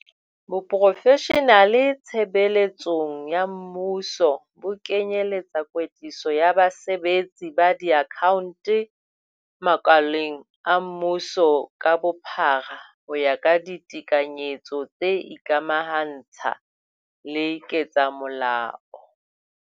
Boprofeshenale tshebe letsong ya mmuso bo kenye etsa kwetliso ya basebetsi ba diakhaonto makaleng a mmuso ka bophara ho ya ka ditekanyetso tse ikamaha ntsha le ketsamolao.